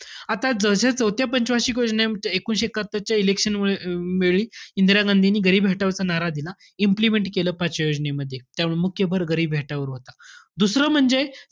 आता जशा, चौथ्या पंच वार्षिक योजनेत एकोणीसशे एक्कत्तरच्या election मुळे~ वेळी इंदिरा गांधींनी गरिबी हटाओचा नारा दिला. Implement केलं पाचव्या योजनेमध्ये. त्यावेळी मुख्य भर गरिबी हटाओ वर होता. दुसरं म्हणजे,